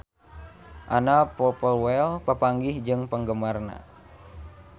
Anna Popplewell papanggih jeung penggemarna